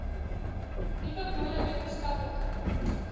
nuwe boere wetenskaplike